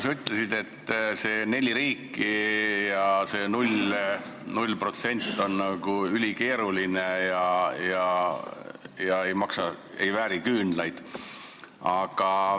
Sa ütlesid, et saavutada nii nagu need neli riiki määr 0% on ülikeeruline ja mäng ei vääri küünlaid.